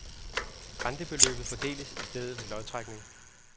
Rentebeløbet fordeles i stedet ved lodtrækning.